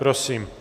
Prosím.